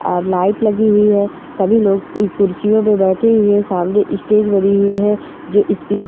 और लाइट लगी हुई है। सभी लोग इस कुर्सियों पर बैठी हुई हैं सामने स्टेज बनी हुई है जो --